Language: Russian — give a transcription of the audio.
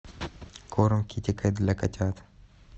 корм китекет для котят